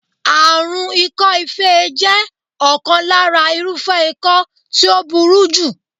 Àrùn ikọ́-ife jẹ́ ọ̀kan lára irúfẹ́ ikọ́ tí ó burú jù.